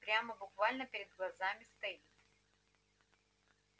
прямо буквально перед глазами стоит